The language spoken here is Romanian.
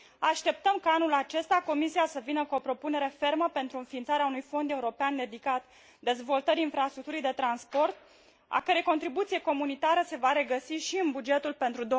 Așteptăm ca anul acesta Comisia să vină cu o propunere fermă pentru înființarea unui fond european dedicat dezvoltării infrastructurii de transport, a cărei contribuție comunitară se va regăsi și în bugetul pentru